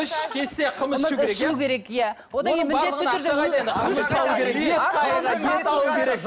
үш кесе қымыз ішу керек иә ішу керек иә одан кейін міндетті түрде